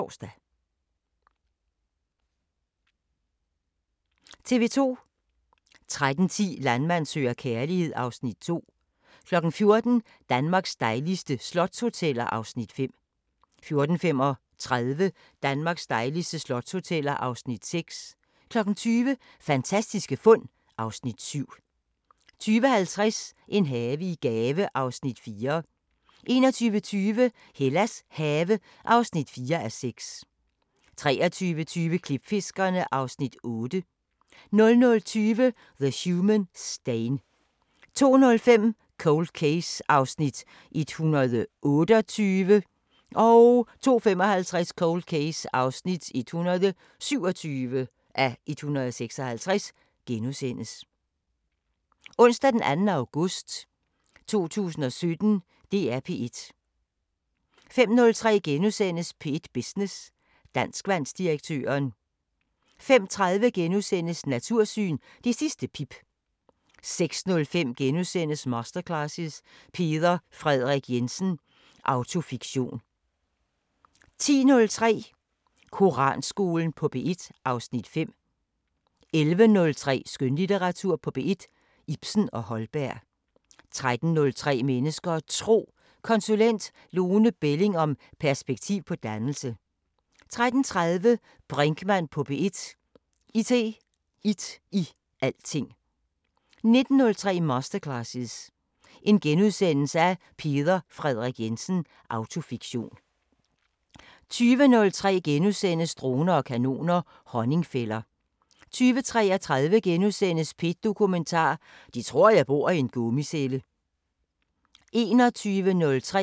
21:03: Jeg er mobilafhængig – med Thomas Skov (Afs. 4)* 21:33: Videnskabens Verden: Klimaforskningens historie * 00:05: Tidsånd sommerspecial *